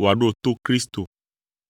wòaɖo to Kristo.